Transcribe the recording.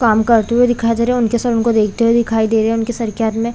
काम करते हुए दिखाई दे रहे है उनके सर उनको देखते हुए दिखाई दे रहे है उनके सर के हाथ मे--